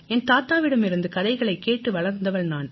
என் தாத்தாவிடமிருந்து கதைகளைக் கேட்டு வளர்ந்தவள் நான்